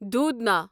دودھنا